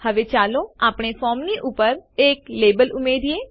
હવે ચાલો આપણે ફોર્મની ઉપર એક લેબલ ઉમેરીએ